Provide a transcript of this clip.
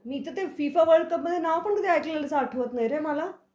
मी तर ते FIFA world कपमध्ये नाव पण कधी ऐकल्याचं आठवत नाही रे मला.